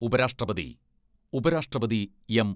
ഉപരാഷ്ട്രപതി ഉപരാഷ്ട്രപതി എം.